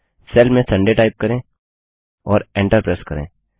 cell में Sunday type करें और एंटर प्रेस करें